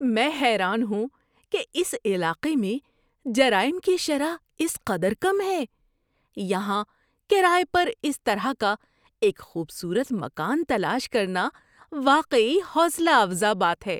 میں حیران ہوں کہ اس علاقے میں جرائم کی شرح اس قدر کم ہے! یہاں کرایہ پر اس طرح کا ایک خوبصورت مکان تلاش کرنا واقعی حوصلہ افزا بات ہے۔